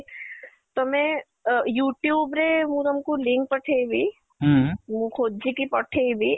ତମେ ଅ youtube ରେ ମୁଁ ତମକୁ link ପଠେଇବି ମୁଁ ଖୋଜିକି ପଠେଇବି